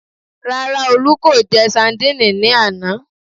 Rárá, Olú kò jẹ sandíìnì ní àná